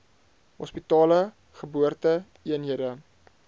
hospitale geboorte eenhede